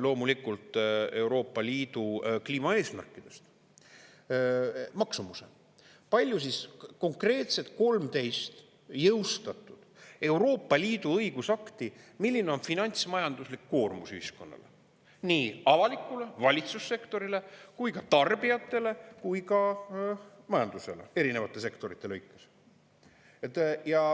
loomulikult Euroopa Liidu kliimaeesmärkidest – maksumuse, kui palju siis konkreetselt 13 jõustatud Euroopa Liidu õigusakti, milline on finantsmajanduslik koormus ühiskonnale, nii avalikule, valitsussektorile kui ka tarbijatele kui ka majandusele erinevate sektorite lõikes.